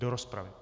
Do rozpravy.